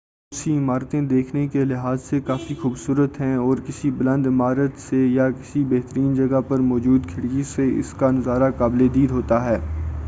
بہت سی عمارتیں دیکھنے کے لحاظ سےکافی خوبصورت ہیں اور کسی بلند عمارت سے یا کسی بہترین جگہ پر موجود کھڑکی سے اس کا نظارہ قابل دید ہوتا ہے